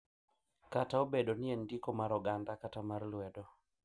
Kata obedo ni en ndiko mar oganda kata mar lwedo,